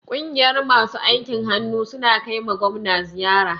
Ƙungiyar masu aikin hannu sun kaima gwamna ziyara.